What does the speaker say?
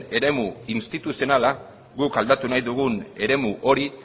eremu instituzionala guk aldatu nahi dugun eremu hori